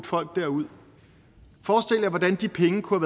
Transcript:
folk derud forestil jer hvordan de penge kunne